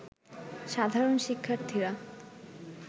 সাধারণ শিক্ষার্থীরা